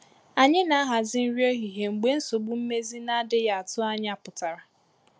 Anyi na ahazi nri ehihie mgbe nsogbu mmezi na-adịghị atụ ànyà pụtara.